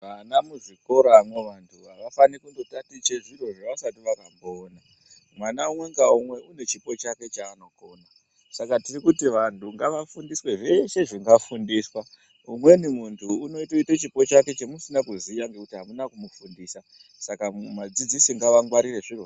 Vana muzvikoramwo awafani kundando tiche zviro zvaasati akamboona, mwana umwe ngaumwe une chipo chake hake chaanokona saka tiri kuti vantu ngaafundiswe zveshe zvingafundiswa ngekuti umweni ungatoita chipo chake chemusina kuziya nekuti amuna kumufundisa, saka vadzidzisi ngaangwarire zvirozvo.